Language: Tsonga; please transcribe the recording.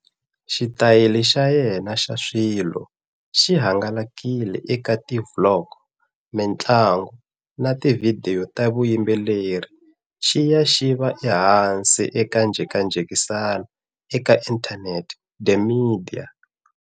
Xitayili xa yena xa swilo xi hangalakile eka ti vlog, mintlangu, na tivhidiyo ta vuyimbeleri, xi ya xi va ehansi ka njhekanjhekisano eka inthanete the media.